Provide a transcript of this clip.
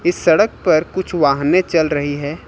इस सड़क पर कुछ वाहने चल रही हैं।